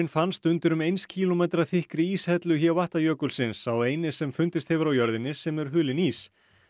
fannst undir um eins kílómetra þykkri íshellu jökulsins sá eini sem fundist hefur á jörðinni sem er hulinn ís